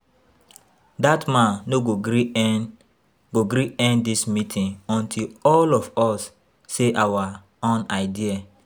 Dat man no go gree end go gree end dis meeting until all of us say our own idea